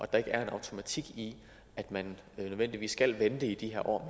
der ikke er en automatik i at man nødvendigvis skal vente i de her år